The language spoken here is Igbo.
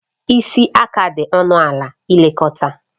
Isi aka dị ọnụ ala ilekọta